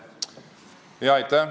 Aitäh!